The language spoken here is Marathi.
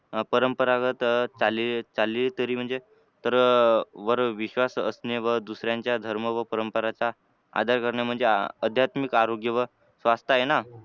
अह परंपरागत चाली चालीरीती म्हणजे इतरांवर विश्वास असणे व दुसऱ्यांच्या धर्म व परंपरांचा आदर करणे म्हणजे अह अध्यात्मिक आरोग्य व स्वास्थ आहे ना